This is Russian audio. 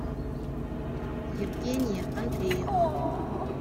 евгения андреевна